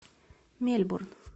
мельбурн